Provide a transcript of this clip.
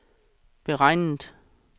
beregnet